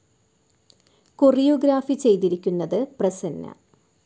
കൊറിയോ ഗ്രാഫി ചെയ്തിരിക്കുന്നത് പ്രസന്ന.